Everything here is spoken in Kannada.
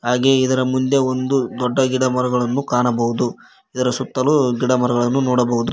ಹಾಗೇ ಇದರ ಮುಂದೆ ಒಂದು ದೊಡ್ಡ ಗಿಡ ಮರಗಳನ್ನು ಕಾಣಬಹುದು ಇದರ ಸುತ್ತಲು ಗಿಡಮರಗಳನ್ನು ನೋಡಬಹುದು.